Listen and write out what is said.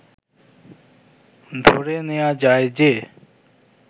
ধরে নেয়া যায় যে